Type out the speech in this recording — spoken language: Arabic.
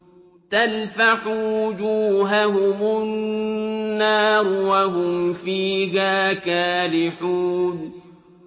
تَلْفَحُ وُجُوهَهُمُ النَّارُ وَهُمْ فِيهَا كَالِحُونَ